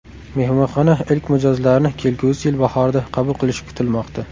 Mehmonxona ilk mijozlarni kelgusi yil bahorida qabul qilishi kutilmoqda.